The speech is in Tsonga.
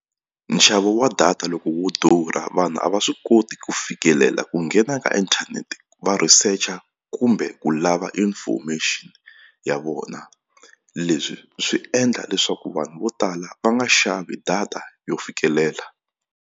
Nxavo wa data loko wu durha vanhu a va swi koti ku fikelela ku nghena ka inthanete va researcher kumbe ku lava information ya vona leswi swi endla leswaku vanhu vo tala va nga xavi data yo fikelela.